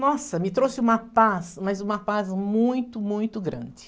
Nossa, me trouxe uma paz, mas uma paz muito, muito grande.